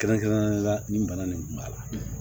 Kɛrɛnkɛrɛnnenya la nin bana nin kun b'a la